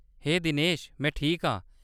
हे दिनेश ! में ठीक आं।